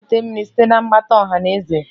Gaa weta mmiri site na mgbata ọha na eze!